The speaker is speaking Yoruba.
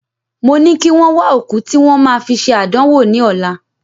Mo ní kí wọ́n wà òkú tí wọ́n ma fi ṣe àdánwò ní ọlá